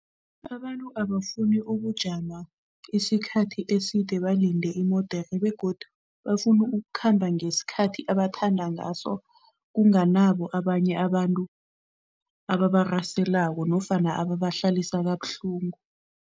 Abantu abafuni ukujama isikhathi eside balinde imodere begodu bafuna ukukhamba ngesikhathi abathanda ngaso kunganabo abanye abantu ababaraselako nofana ababahlalisa kabuhlungu.